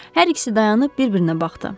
Hər ikisi dayanıb bir-birinə baxdı.